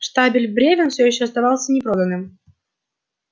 штабель брёвен всё ещё оставался непроданным